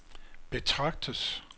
betragtes